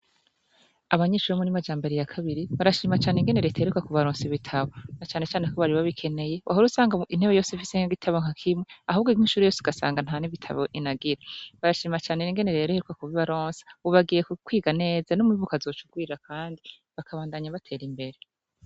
Abanyicura 'umuri majamboriya kabiri barashimacane ingenero itererwa ku balonsi bitabo na canecane ko baribabikeneye wahora usanga intebe yose visenkga gitabonkakimwe ahubwo inke inshuru yose ugasanga nta n' ibitabo inagira barashimacane n ingenero yereherwa ku ba i baronsi bubagiye kukwiga neza n'umu ibuko azocugwira, kandi bakabandanya batera imbere.